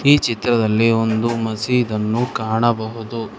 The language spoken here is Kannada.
ಈ ಚಿತ್ರದಲ್ಲಿ ಒಂದು ಮಸೀದ್ ಅನ್ನು ಕಾಣಬಹುದು.